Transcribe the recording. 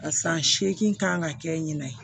A san seegin kan ka kɛ ɲinan ye